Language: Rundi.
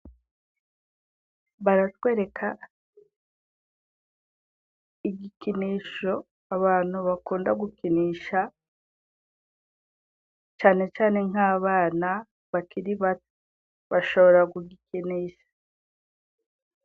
Baratwereka igikinisho abantu bakunda gukinisha, cane cane nk'abana bakiri bato bashobora kugikinisha.